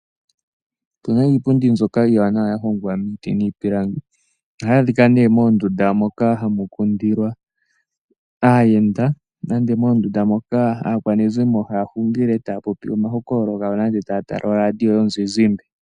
Otu na iipundi mbyoka iiwanawa ya hongwa miiti niipilangi, ohayi adhikwa nee moondunda moka hamu kundilwa aayenda, nenge moondunda moka aakwanezimo haya hungile taya popi omahokolo gawo, nenge taya tala oradio yomuzizimba.